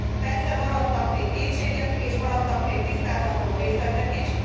Persze maradtak még kétségek és maradtak még tisztázandó részletek is.